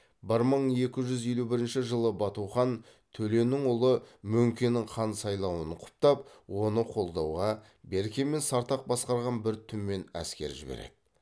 бір мың екі жүз елу бірінші жылы бату хан төленің ұлы мөңкенің хан сайлауын құптап оны қолдауға берке мен сартақ басқарған бір түмен әскер жібереді